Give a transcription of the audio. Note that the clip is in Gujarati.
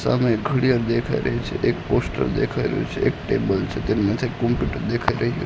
સામે ઘડિયાલ દેખાય રહી છે એક પોસ્ટર દેખાય રહ્યુ છે એક ટેબલ છે તેમના સાઇડ કોમ્પ્યુટર દેખાય રહ્યુ--